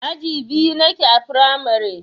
Aji biyu nake a firamare.